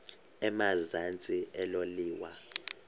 emazantsi elo liwa